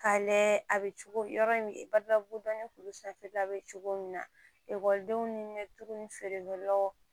K'a layɛ a bɛ cogo yɔrɔ in badabugu dɔnni sanfɛla bɛ cogo min na ekɔlidenw ni tuguni ni feerekɛ law